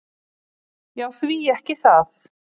"""Já, því ekki það."""